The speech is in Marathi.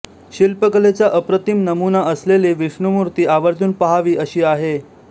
शिल्पकलेचा अप्रतिम नमुना असलेली विष्णुमूर्ती आवर्जून पाहावी अशी आहे